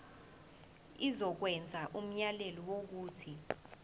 izokwenza umyalelo wokuthi